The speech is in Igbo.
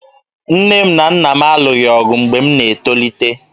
Nne m na Nna m alụghị ọgụ mgbe m na-etolite